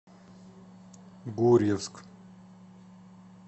гурьевск